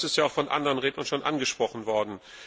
Das ist auch von anderen Rednern schon angesprochen worden.